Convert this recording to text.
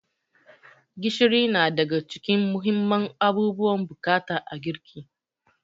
Gishiri na daga cikin muhimman abubuwan bukata a girki.